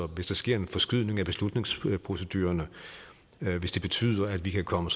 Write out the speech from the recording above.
hvis der sker en forskydning af beslutningsproceduren og hvis det betyder at vi kan komme